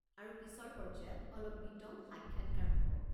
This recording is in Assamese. আৰু পিছৰ পৰ্য্যায়ত অলপ বিতং সাক্ষাৎকাৰ হ'ব।